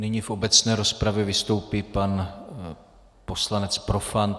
Nyní v obecné rozpravě vystoupí pan poslanec Profant.